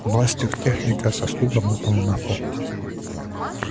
бластер техника со стуком упал на пол